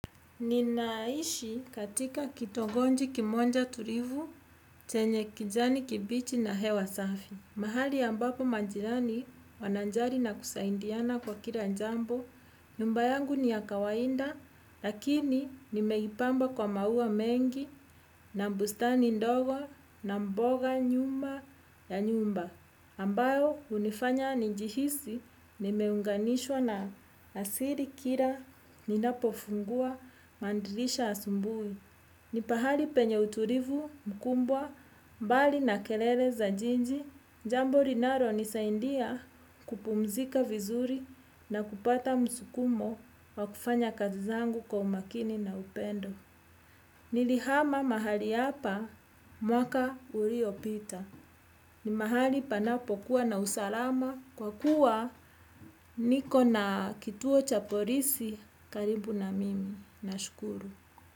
Nina ishi katika kitongoji kimonja tulivu, chenye kijani kibichi na hewa safi. Mahali ambapo manjirani wanajali na kusaindiana kwa kila jambo, nyumba yangu ni ya kawainda, lakini nimeipamba kwa maua mengi na mbustani ndogo na mboga nyumba ya nyumba. Ambao unifanya njihisi ni meunganishwa na asili kila ni napofungua madirisha asubui. Ni pahali penye uturivu mkubwa mbali na kelele za jiji. Jambo linalo nisaidia kupumzika vizuri na kupata msukumo wa kufanya kazi zangu kwa umakini na upendo. Nilihama mahali apa mwaka uliopita. Ni mahali panapo kuwa na usalama kwa kuwa niko na kituo chapolisi karibu na mimi na shukuru.